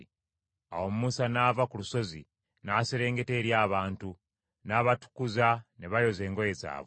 Awo Musa n’ava ku lusozi n’aserengeta eri abantu, n’abatukuza ne bayoza engoye zaabwe.